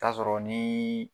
Taa'a sɔrɔ nii